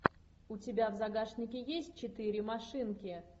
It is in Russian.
у тебя в загашнике есть четыре машинки